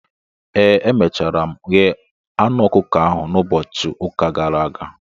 ee, emechara m ghee anụ ọkụkọ ahụ ụbọchị ụka gara aga